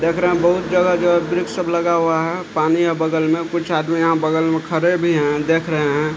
देख रहे हैं बहुत जगह-जगह वृक्ष सब लगा हुआ है पानी है बगल में कुछ आदमी यहाँ बगल में खड़े भी हैं देख रहे हैं।